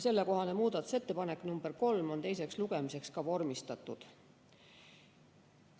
Sellekohane muudatusettepanek nr 3 on teiseks lugemiseks vormistatud.